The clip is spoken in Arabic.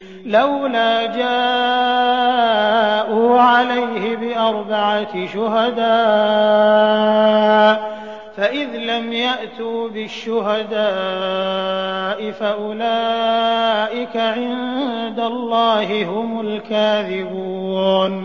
لَّوْلَا جَاءُوا عَلَيْهِ بِأَرْبَعَةِ شُهَدَاءَ ۚ فَإِذْ لَمْ يَأْتُوا بِالشُّهَدَاءِ فَأُولَٰئِكَ عِندَ اللَّهِ هُمُ الْكَاذِبُونَ